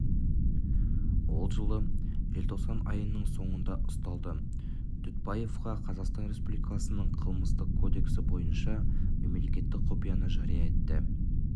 ол жылы желтоқсан айының соңында ұсталды дүтбаевқа қазақстан республикасының қылмыстық кодексі бойынша мемлекеттік құпияны жария етті